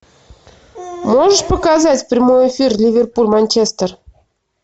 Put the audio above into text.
можешь показать прямой эфир ливерпуль манчестер